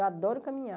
Eu adoro caminhar.